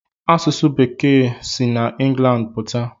Asụsụ bekee si n'England pụta?